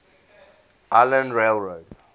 island rail road